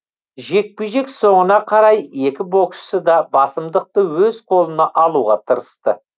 жекпе жек соңына қарай екі боксшы да басымдықты өз қолына алуға тырысты